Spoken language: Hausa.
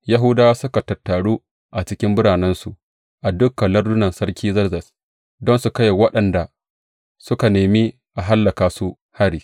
Yahudawa suka tattaru a cikin biranensu a dukan lardunan Sarki Zerzes don su kai wa waɗanda suka nemi a hallaka su hari.